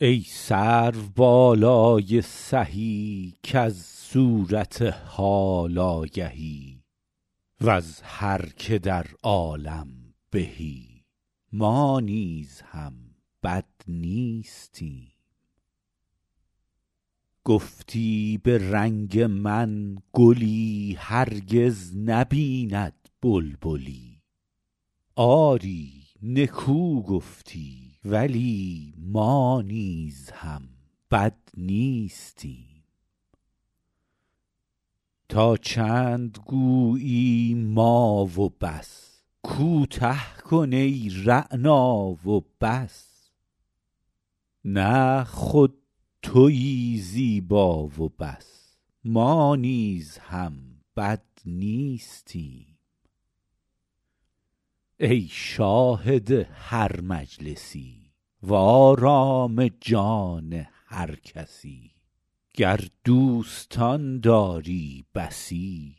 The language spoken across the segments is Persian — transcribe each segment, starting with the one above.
ای سروبالای سهی کز صورت حال آگهی وز هر که در عالم بهی ما نیز هم بد نیستیم گفتی به رنگ من گلی هرگز نبیند بلبلی آری نکو گفتی ولی ما نیز هم بد نیستیم تا چند گویی ما و بس کوته کن ای رعنا و بس نه خود تویی زیبا و بس ما نیز هم بد نیستیم ای شاهد هر مجلسی وآرام جان هر کسی گر دوستان داری بسی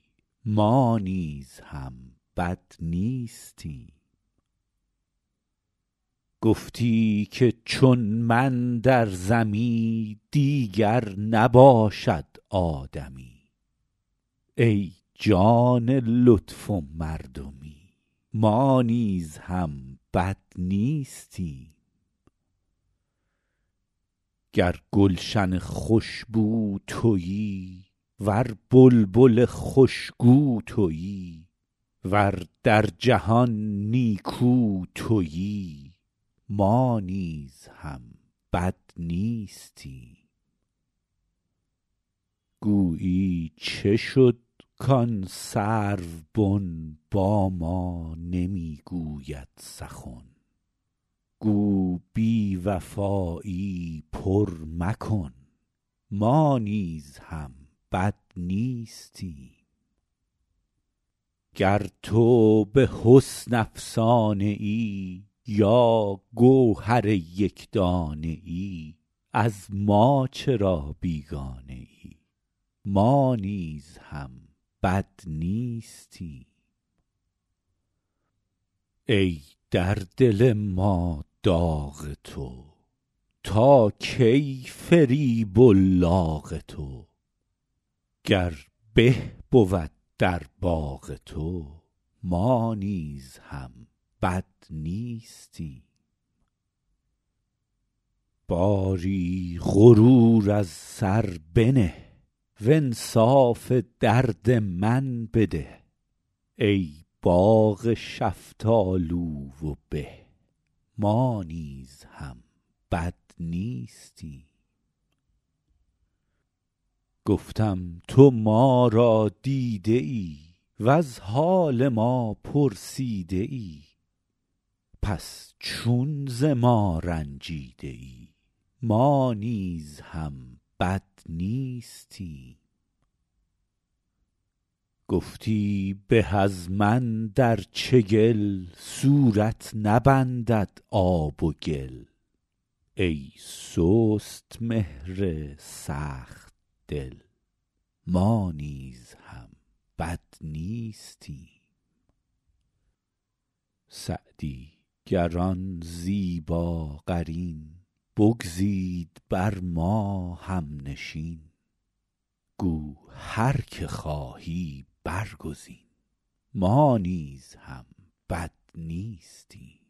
ما نیز هم بد نیستیم گفتی که چون من در زمی دیگر نباشد آدمی ای جان لطف و مردمی ما نیز هم بد نیستیم گر گلشن خوش بو تویی ور بلبل خوش گو تویی ور در جهان نیکو تویی ما نیز هم بد نیستیم گویی چه شد کآن سروبن با ما نمی گوید سخن گو بی وفایی پر مکن ما نیز هم بد نیستیم گر تو به حسن افسانه ای یا گوهر یک دانه ای از ما چرا بیگانه ای ما نیز هم بد نیستیم ای در دل ما داغ تو تا کی فریب و لاغ تو گر به بود در باغ تو ما نیز هم بد نیستیم باری غرور از سر بنه وانصاف درد من بده ای باغ شفتالو و به ما نیز هم بد نیستیم گفتم تو ما را دیده ای وز حال ما پرسیده ای پس چون ز ما رنجیده ای ما نیز هم بد نیستیم گفتی به از من در چگل صورت نبندد آب و گل ای سست مهر سخت دل ما نیز هم بد نیستیم سعدی گر آن زیباقرین بگزید بر ما هم نشین گو هر که خواهی برگزین ما نیز هم بد نیستیم